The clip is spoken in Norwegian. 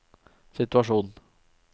situasjon